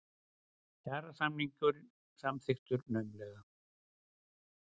Kjarasamningur samþykktur naumlega